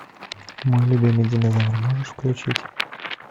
мой любимый динозавр можешь включить